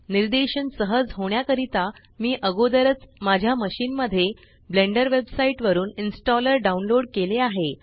निर्देशन सहज होण्याकरिता मी अगोदरच माझ्या मशीन मध्ये ब्लेंडर वेबसाइट वरुन इनस्टॉलर डाउनलोड केले आहे